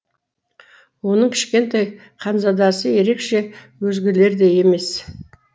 оның кішкентай ханзадасы ерекше өзгелердей емес